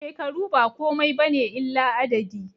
Shekaru ba komai bane illa adadi